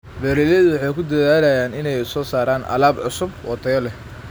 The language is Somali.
Beeraleydu waxay ku dadaalaan inay soo saaraan alaab cusub oo tayo leh.